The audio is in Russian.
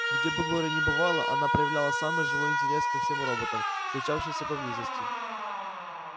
где бы глория ни бывала она проявляла самый живой интерес ко всем роботам случавшимся поблизости